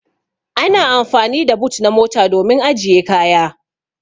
Ana amfani da boot na mota domin ajiye kaya.